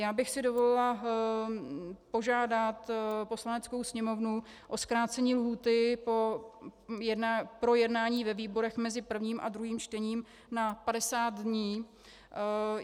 Já bych si dovolila požádat Poslaneckou sněmovnu o zkrácení lhůty pro jednání ve výborech mezi prvním a druhým čtením na 50 dní.